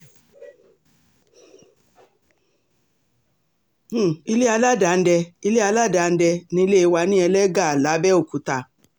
um ilé aládàndé ilé aládàndé nílé wa ní ẹlẹ́gà làbẹ́òkúta